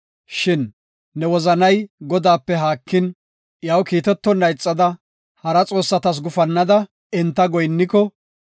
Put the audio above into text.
Shin ne wozanay Godaape haakin, iyaw kiitetonna ixada, hara xoossatas gufannada enta goyinniko,